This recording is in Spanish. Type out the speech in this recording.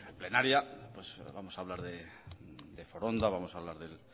plenaria vamos a hablar de foronda vamos a hablar del